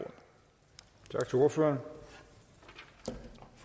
for